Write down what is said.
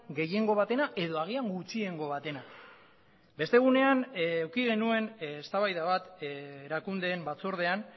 gehiengo batena edo agian gutxiengo batena beste egunean eduki genuen eztabaida bat erakundeen batzordean